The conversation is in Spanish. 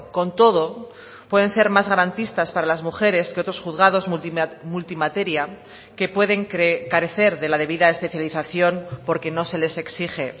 con todo pueden ser más garantistas para las mujeres que otros juzgados multimateria que pueden carecer de la debida especialización porque no se les exige